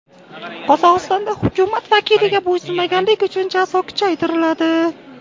Qozog‘istonda hukumat vakiliga bo‘ysunmaganlik uchun jazo kuchaytiriladi.